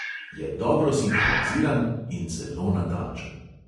Je dobro sinhroniziran in zelo natančen.